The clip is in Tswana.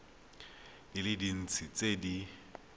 di le dintsi tse di